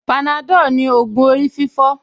Panadol ni ògùn orí fífọ́